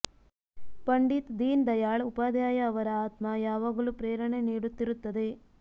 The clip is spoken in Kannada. ಪಂಡಿತ್ ದೀನ್ ದಯಾಳ್ ಉಪಾಧ್ಯಾಯ ಅವರ ಆತ್ಮ ಯಾವಾಗಲೂ ಪ್ರೇರಣೆ ನೀಡುತ್ತಿರು ತ್ತದೆ